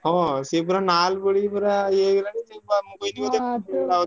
ହଁ ସେ ପୁରା ନାଲ ପଡିକି ପୁରା ଇଏ ହେଇଗଲାଣି। ସିଏବା ମୁଁ କହିଲି ବୋଧେ